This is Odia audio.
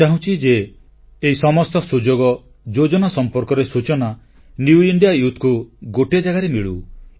ମୁଁ ଚାହୁଁଛି ଯେ ଏହି ସମସ୍ତ ସୁଯୋଗ ଯୋଜନା ସମ୍ପର୍କରେ ସୂଚନା ନୂଆ ଭାରତର ଯୁବଶକ୍ତିଙ୍କୁ ଗୋଟିଏ ଜାଗାରେ ମିଳୁ